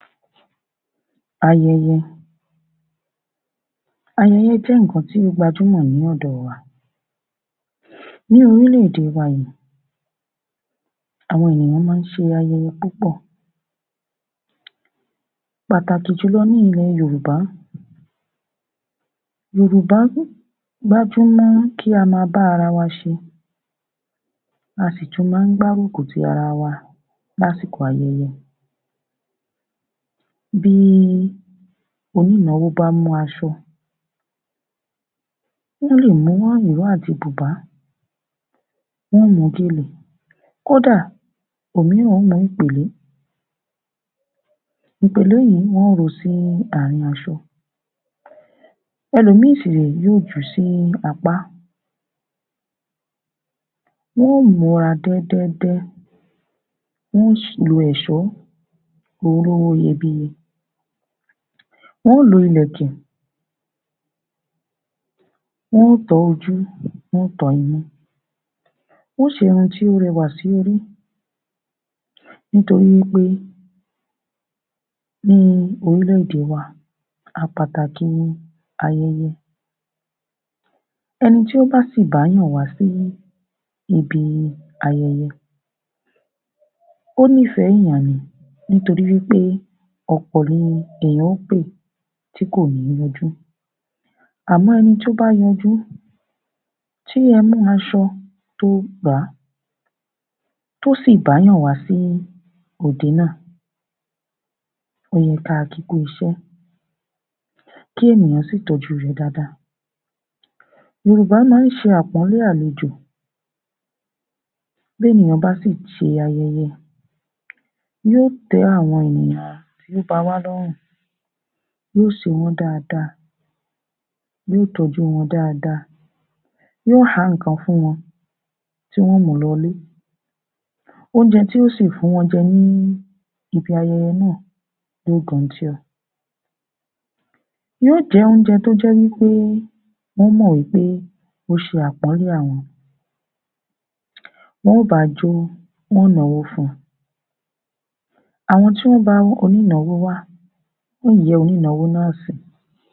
AYẸYẸ. Ayẹyẹ jẹ́ nìkan tó gbajúmọ̀ lọ́dọ̀ wa ní orílẹ - èdè wa yìí àwọn ènìyàn má ń ṣe ayẹyẹ púpọ̀ pàtàkì jùlọ ní ilẹ̀ yorùbá yorùbá ń gbájúmọ́ kí á ma bá ara wa ṣe a sì tún má gbárùkù ti ara lásìkò ayẹyẹ Bí í onínáwó bá mú asọ ó lè mú ọ ìró àti bùbá wọ́n mú gèlè kódà òmíràn ó mú ìpèlé ìpèlè yìí wọ́n ó ro sí asọ ẹ̀lòmìí sì ré yóò jù sí apá wọ́n múra dẹ́dẹ́dẹ́, wọ́n sì lo èsọ́ wọ́n sì lo èsọ́ olówó iyebíye wọ́n lo ilẹ̀kẹ̀ wọ́n tọ́ ojú, wọ́n tọ́ imú, wọ́n seru tó rewà sórí nítorí wí pé ní orílè- èdè wa a pàtàkì ayẹyẹ ẹni tó bá sì bá ènìyàn wá sí ibi ayẹyẹ ó ní ìfẹ́ ènìyàn ni nítorí wí pé ọ̀pọ̀ ni lèyàn pè tí kò ní yọjú Àmọ́ ẹni to ́ bá yọjú. Àmọ́ ẹni to ́ bá yọjú, tí ẹ mú asọ tó ó gbà á to sì ́ bá ènìyaǹ wá sí òde náà ó yẹ ká kí kú iṣẹ́ kí ènìyàn sí í tọ́jú rẹ̀ dáadaá Yor̀ubá má ṣe àpónlé àlejò bí ènìyàn bá sì ṣè ayẹyẹ yóò té àwọn ènìyàn tó ba wá lọ́rùn yóò ṣe wọ́n dáadáa yóò ṣe wọ́n dáadáa yóò tọ́jú wọ́n dáadáa yóò há nìkan fún wọ́n tí wọ́n mú lọlé óúnjẹ tí yóò sì fún wọn jẹ ní bi ayẹyẹ náà yóò gò̀ntíọ̀ yóò jẹ́ óúnjẹ tó jẹ́ wí pé wọ́n mọ̀ wí pé ó ṣe àpónlé àwọn wọ́n bá jó wọ́n náwó fún àwọn tí wọ́n bá onínáwó wá wọ́n yóò yẹ́ onínáwó náà sí.